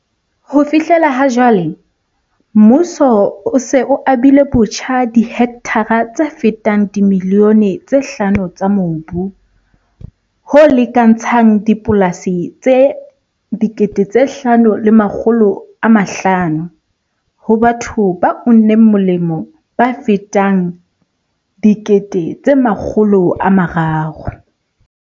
"Ho fihlela ha jwale, mmuso o se o abilebotjha dihektara tse fetang dimilione tse hlano tsa mobu, ho lekantshang dipolasi tse 5 500, ho batho ba uneng molemo ba fetang 300 000."